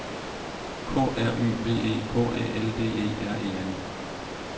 K R Y B E K Æ L D E R E N